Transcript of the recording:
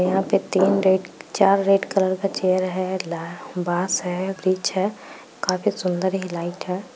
यहाँ पे तीन रेड चार रेड कलर का चेयर है बांस है ब्रिज है काफी सुंदर ये लाइट है।